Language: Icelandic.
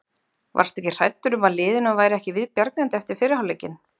Varstu hræddur um að liðinu væri ekki viðbjargandi eftir fyrri hálfleikinn?